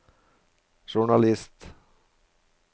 journalist